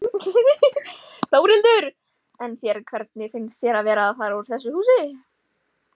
Þórhildur: En þér, hvernig finnst þér að vera að fara úr þessu húsi?